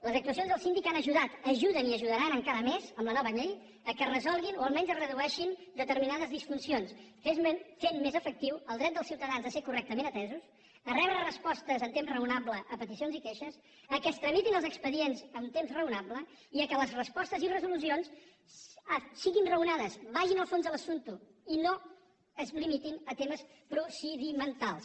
les actuacions del síndic han ajudat ajuden i ajudaran encara més amb la nova llei que es resolguin o almenys es redueixin determinades disfuncions i es faci més efectiu el dret dels ciutadans a ser correctament atesos a rebre respostes en temps raonable a peticions i queixes que es tramitin els expedients en temps raonable i que les respostes i resolucions siguin raonades vagin al fons de l’assumpte i no es limitin a temes procedimentals